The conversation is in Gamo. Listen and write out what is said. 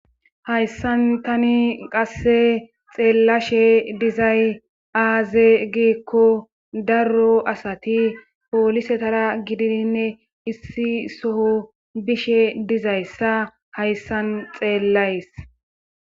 hayssan tani qasse xeellashe dizay aaze giikko darro asati poolisetara gididinne issi soho bishe dizayssa hayssan xeellays